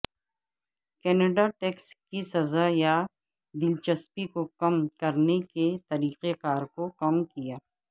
Canada tax کی سزا یا دلچسپی کو کم کرنے کے طریقہ کار کو کم کیا